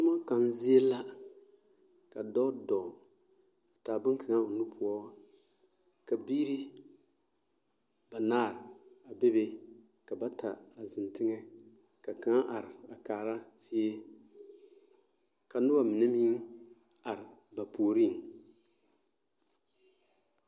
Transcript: Toma kang zie la ka dɔɔ doo taa bonkaŋa o nu poɔ ka biiri banaare bebe ka bata ziŋ teŋe ka kang are kaara zie ka noba mine meŋ are ba puure.